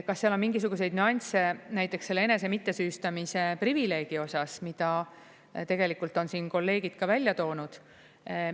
Kas seal on mingisuguseid nüansse näiteks selle enese mittesüüstamise privileegi osas, mida tegelikult on siin kolleegid ka välja toonud?